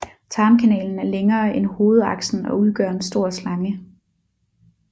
Tarmkanalen er længere end hovedaksen og udgør en stor slange